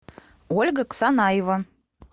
ольга ксанаева